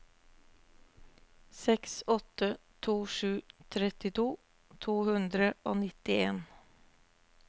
seks åtte to sju trettito to hundre og nittien